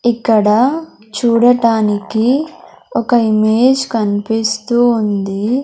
ఇక్కడ చూడటానికి ఒక ఇమేజ్ కనిపిస్తూ ఉంది.